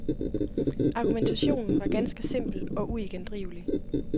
Argumentationen var ganske simpel og uigendrivelig.